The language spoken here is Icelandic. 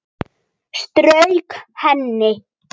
Strauk henni.